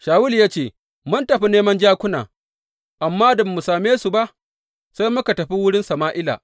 Shawulu ya ce, Mun tafi neman jakuna, amma da ba mu same su ba sai muka tafi wurin Sama’ila.